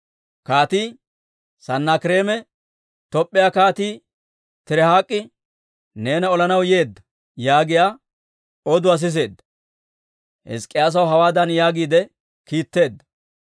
Kaatii Sanaakireeme, «Top'p'iyaa Kaatii Tirihaak'i neena olanaw yeedda» yaagiyaa oduwaa siseedda. Hizk'k'iyaasaw hawaadan yaagiide kiitteedda;